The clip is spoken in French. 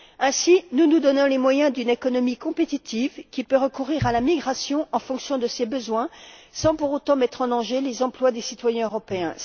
Ainsi, nous nous donnons les moyens d'une économie compétitive qui peut recourir à la migration en fonction de ses besoins, sans pour autant, mettre en danger les emplois des citoyens européens.